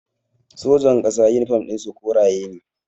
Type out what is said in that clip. Sojan ƙasa yunifom ɗin su koriya na